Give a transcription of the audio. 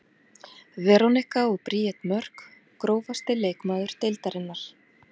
Veronika og Bríet Mörk Grófasti leikmaður deildarinnar?